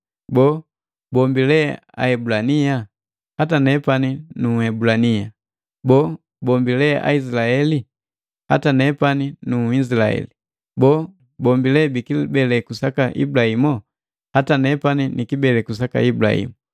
Boo, bombi lee Aebulania? Hata nepani nu Ebulania. Boo, bombi lee Aizilaeli? Hata nepani nu Izilaheli. Boo, bombi le bikibeleku saka Ibulahimu? Hata nepani ni kibeleku saka Ibulahimu.